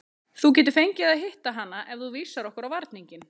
Þú getur fengið að hitta hana ef þú vísar okkur á varninginn.